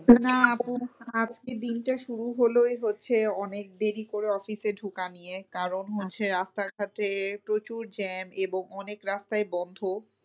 না আপু আজকে দিনটা শুরু হলোই হচ্ছে অনেক দেরি করে office এ ঢোকা নিয়ে। কারণ হচ্ছে রাস্তাটাতে প্রচুর jam এবং অনেক রাস্তাই বন্ধ।